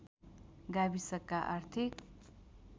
गाविसका आर्थिक